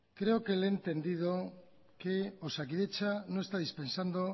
creo que le he entendido que osakidetza no está dispensando